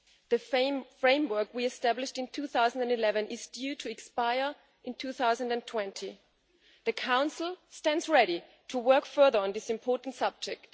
The framework we established in 2011 is due to expire in 2020. The Council stands ready to work further on this important subject.